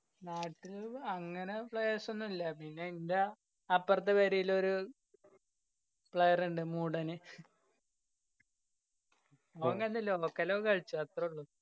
നാട്ടില് അങ്ങനെ players ഒന്നല്ല. പിന്നെ ഇന്റ അപ്രത്തെ പെരേല് ഒരു player ഇണ്ട് മൂടാന് ഓന് കളിച്ചു അത്തറുള്ളു